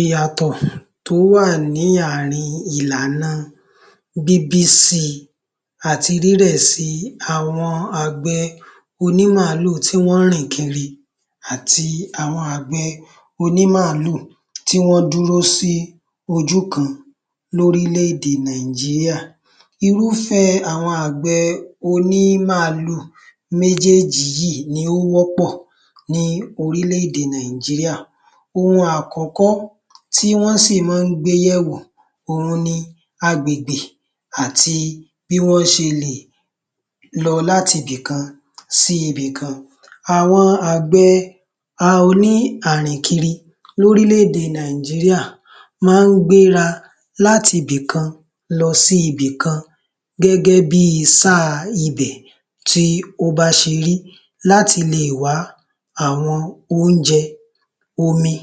Ìyàtọ̀ tó wà ní ààrin ìlànà bíbísí àti rírẹ̀si àwọn àgbẹ̀ oní-màálù tí wọ́n rìn kiri àti àwọn àgbẹ̀ oní-màálù tí wọ́n dúró sí ojú kan lórílẹ̀-èdè Nàìjíríà. Irúfẹ́ àwọn àgbẹ̀ oní màálù méjèjì yìí ni ó wọ́pọ̀ ní orílẹ̀-èdè Nàìjíríà. Ohun àkọ́kọ́, tí wọ́n sì máa ń gbé yẹ̀wò òun ni agbègbè àti bí wọ́n ṣe lè lọ láti ibìkan si ibìkan àwọn àgbẹ̀ o ní àrìnkinrin lórílẹ̀-èdè Nàìjíríà, máa ń gbéra láti ibì kan lọ sí ibì kan, gẹ́gẹ́ bi sáà ibẹ̀ tí ó bá ṣe rí láti lè wá àwọn oúnjẹ, omi,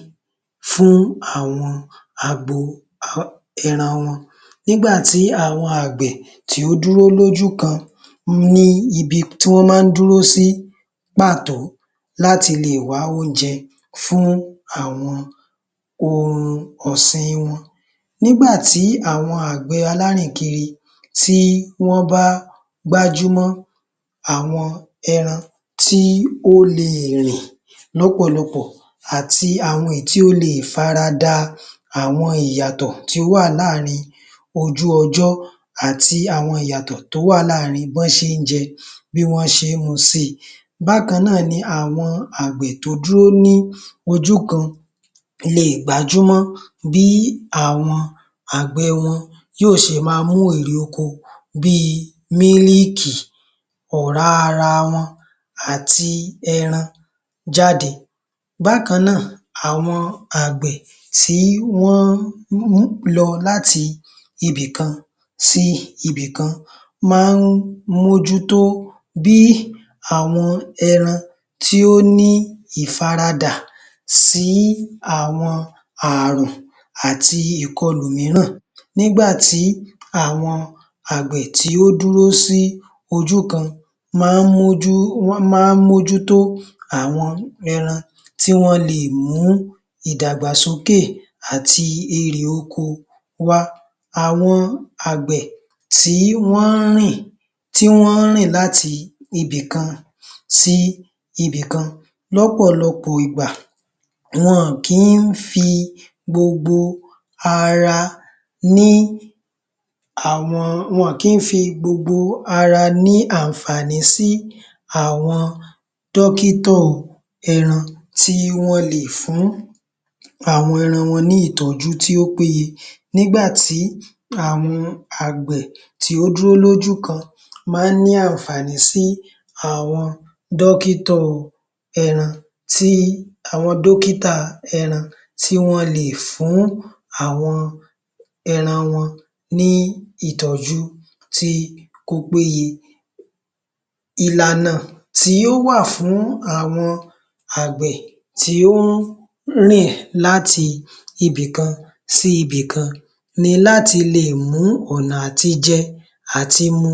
fún àwọn agbo um ẹran wọn. Nígbà tí àwọn àgbẹ̀ kì í dúró lójú kan wọ́n ní ibi tí wọ́n máa dúró sí pàtó láti lè wá oúnjẹ fún àwọn ohun ọ̀sìn wọn. Nígbà tí àwọn àgbẹ̀ alárìnkiri tí wọ́n bá gbájúmọ́ àwọn ẹran tí ó lè rìn lọ́pọ̀lọpọ̀ àti àwọn tí ó le faradà àwọn ìyàtọ̀ tó wà láàrin ojú ọjọ àti àwọn ìyàtọ̀ tó wà láàrin bí wọ́n ṣe ń jẹ, bí wọ́n ṣe mu si, Bákan náà ni àwọn àgbẹ̀ tó dúró ní ojú kan lè gbájúmọ́ bí àwọn àgbẹ̀ wọn yóò ṣe máa mú ìrè oko bíi mílìkì, ọ̀rá ara wọn, àti ẹran jáde. Bákan náà, àwọn àgbẹ̀ tí wọ́n lọ láti ibì kan sí ibì kan máa ń mójútó bí àwọn ẹran tí ó ní ìfaradà sí àwọn ààrùn àti ìkọlù mìíràn nígbà tí àwọn àgbẹ̀ tí ó dúró sí ojú kan lọ́ ń mójútó, lọ́ máa ń mójútó àwọn ẹran tí wọ́n le è mú ìdàgbàsókè àti irè oko wá. àwọn àgbẹ̀ tí wọ́n rìn tí wọ́n rìn láti ibì kan sí ibì kan lọ́pọ̀lọpọ̀ ìgbà wọn ò kí ń fi gbogbo ara ní àwọn, wọn ò kí ń fi gbogbo ara ní àǹfààní sí àwọn dọ́kítà ẹran, tí wọ́n lè fún àwọn ẹran wọn ní ìtọ́jú tí ó péye, nígbà tí àwọn àgbẹ̀ tí ó dúró sójú kan máa ń ní àǹfààní sí àwọn dọ́kítà ẹran sí àwọn dókítà ẹran tí wọ́n lè fún àwọn ẹran wọn, ní ìtọ́jú sí Ìlànà tí ó wà fún àwọn àgbẹ̀ tí ó kúrò láti ibì kan sí ibì kan ni láti lè mú ọ̀nà à ti jẹ, à ti mu,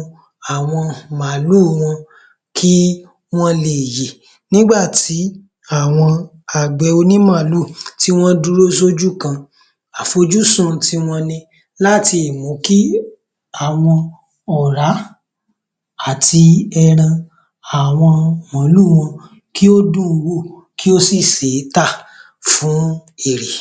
àwọn màálù wọn kí wọ́n lè yè nígbà tí àwọn àgbẹ̀ oní màálù tí wọ́n dúró sójú kan àfojúsùn ti wọn ni láti mú kí àwọn ọ̀rá àti ẹran àwọn màálù wọn kí ó dùn wò, kí ó sì ṣé tà fún èrè.